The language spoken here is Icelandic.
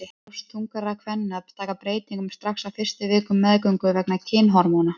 Brjóst þungaðra kvenna taka breytingum strax á fyrstu vikum meðgöngu vegna kynhormóna.